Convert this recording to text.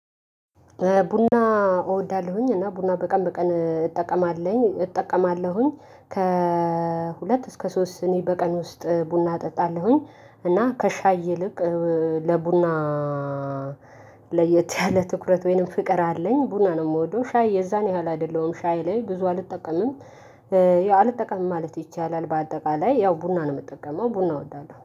ቡና እወዳለሁኝ እና ቡና በቀን በቀን እጠቀማለሁኝ እጠቀማለሁኝ ከሁለት እስከ ሶስት ስኒ በቀን ውስጥ ቡና እጠጣለሁኝ። እና ከሻይ ይልቅ ለቡና ለየት ያለ ትኩረት ወይንም ፍቅር አለኝ ቡና ነው እምወደው ሻይ የዛን ያህል አይደለሁም ሻይ ላይ ብዙ አልጠቀምም። ያው አልጠቀምም ማለት ይቻላል። በአጠቃላይ ያው ቡና ነው የምጠቀመው ቡና እወዳለሁ